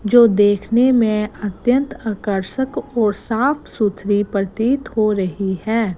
जो देखने में अत्यंत आकर्षक और साफ सुथरी प्रतीत हो रही है।